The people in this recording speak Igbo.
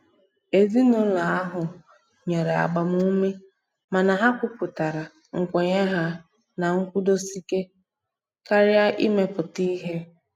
Ezinụlọ ahụ nyere agbamume mana ha kwuputara nkwenye ha na nkwụdosike karịa imepụta ihe.